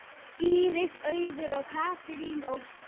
Íris Auður og Katrín Ósk.